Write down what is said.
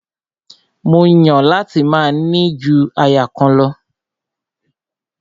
Mó Yàn láti máa ní ju aya kan lọ.